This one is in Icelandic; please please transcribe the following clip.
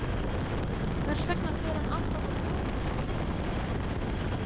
Hvers vegna fer hann alltaf á taugum á síðustu metrunum?